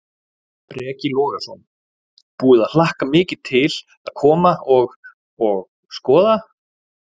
Breki Logason: Búið að hlakka mikið til að koma og, og skoða?